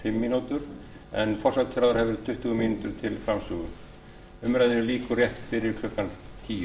sex mín og fimm mín en forsætisráðherra hefur tuttugu mín til framsögu umræðunni lýkur rétt fyrir klukkan tíu